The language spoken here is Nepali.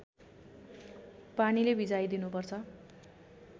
पानीले भिजाइ दिनुपर्छ